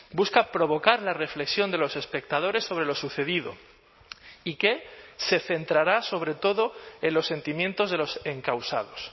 busca provocar la reflexión de los espectadores sobre lo sucedido y que se centrará sobre todo en los sentimientos de los encausados